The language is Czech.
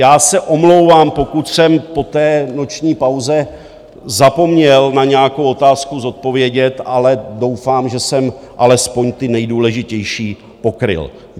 Já se omlouvám, pokud jsem po té noční pauze zapomněl na nějakou otázku zodpovědět, ale doufám, že jsem alespoň ty nejdůležitější pokryl.